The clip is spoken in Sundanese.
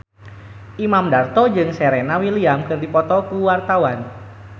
Imam Darto jeung Serena Williams keur dipoto ku wartawan